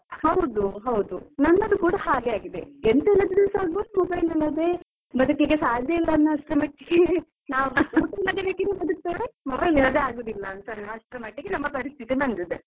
ಹೌದು ಹೌದು ನನ್ನದು ಕೂಡ ಹಾಗೆ ಆಗಿದೆ ಎಂಥದು ಇಲ್ಲದ್ರೂ ಸ ಅಗ್ಬಹುದು. mobile ಇಲ್ಲದ್ರೆ ಬದುಕ್ಲಿಕ್ಕೆ ಸಾಧ್ಯ ಇಲ್ಲವಸ್ತು ಮಟ್ಟಿಗೇ . ಬದುಕ್ತಾರೆ mobile ಇಲ್ಲದ್ರೆ ಆಗುದಿಲ್ಲ ಅಂತ ಅಷ್ಟ್ ಮಟ್ಟಿಗೆ ನಮ್ ಪರಿಸ್ಥಿತಿ ಬಂದಿದೆ.